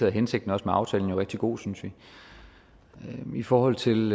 er hensigten med aftalen jo også rigtig god synes vi i forhold til